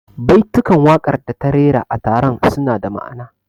Baitukan waƙar da ta rera a taron suna da ma'ana